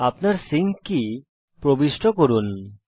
আপনার sync key প্রবিষ্ট করুন